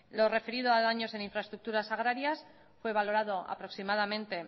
lo referido a daños en infraestructuras agrarias fue valorado aproximadamente